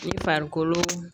I farikolo